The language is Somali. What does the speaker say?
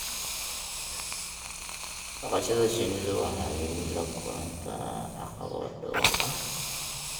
dhaqashada shinnidu waxay la kulantaa caqabado dhowr ah.